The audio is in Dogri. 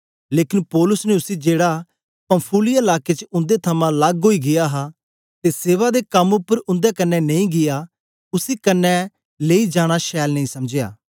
लेकन पौलुस ने उसी जेड़ा पंफूलिया लाके च उन्दे थमां लग्ग ओई गीया हा ते सेवा दे कम उपर उन्दे कन्ने नेई गीया उसी कन्ने लेई जाना छैल नेई समझया